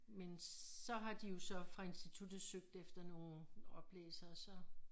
Men så har de jo så fra instituttet søgt efter nogen oplæsere så